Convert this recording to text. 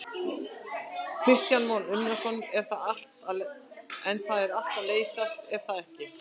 Kristján Már Unnarsson: En það er allt að leysast er það ekki?